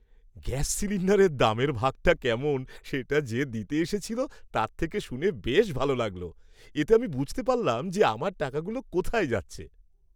Gas সিলিন্ডারের দামের ভাগটা কেমন সেটা যে দিতে এসেছিল তার থেকে শুনে বেশ ভালো লাগল। এতে আমি বুঝতে পারলাম যে আমার টাকাগুলো কোথায় যাচ্ছে।